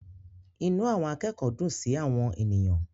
Inú àwọn akẹ́kọ̀ọ́ dùn sí àwọn ènìyàn.